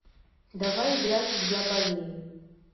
давай играть в я болею